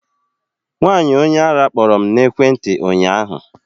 Nwaanyi onye arụ kpọrọ m na ekwentị ụnyaahụ